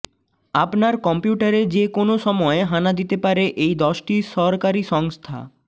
আপনার কম্পিউটারে যে কোন সময় হানা দিতে পারে এই দশটি সরকারি সংস্থা